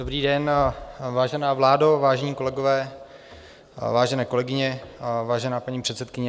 Dobrý den, vážená vládo, vážené kolegyně, vážení kolegové, vážená paní předsedkyně.